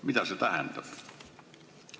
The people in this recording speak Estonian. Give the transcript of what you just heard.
Mida see tähendab?